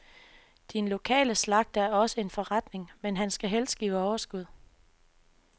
Din lokale slagter er også en forretning, men han skal helst give overskud.